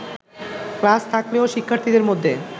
class থাকলেও শিক্ষার্থীদের মধ্যে